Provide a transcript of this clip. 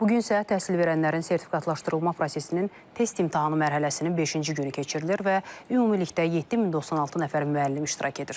Bu gün isə təhsil verənlərin sertifikatlaşdırılma prosesinin test imtahanı mərhələsinin beşinci günü keçirilir və ümumilikdə 7096 nəfər müəllim iştirak edir.